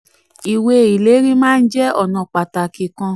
38. ìwé ìlérí maa ń jẹ́ ọ̀nà pàtàkì kan.